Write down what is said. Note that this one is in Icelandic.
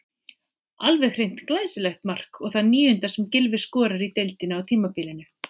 Alveg hreint glæsilegt mark og það níunda sem Gylfi skorar í deildinni á tímabilinu.